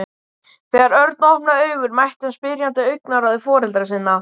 Þegar Örn opnaði augun mætti hann spyrjandi augnaráði foreldra sinna.